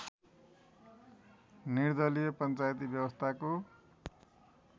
निर्दलीय पञ्चायती व्यवस्थाको